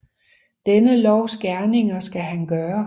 Denne lovs gerninger skal han gøre